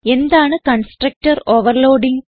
എന്താണ് constructor overloading